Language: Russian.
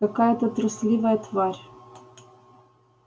какая-то трусливая тварь